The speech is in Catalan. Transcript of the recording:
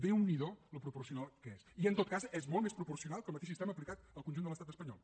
déu n’hi do com n’és de proporcional i en tot cas és molt més proporcional que el mateix sistema aplicat al conjunt de l’estat espanyol